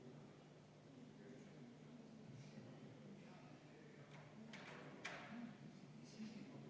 On täiesti loomulik, et meie oleme valinud selles sõjas poole.